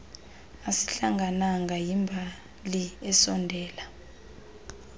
asihlangananga yimbali esondela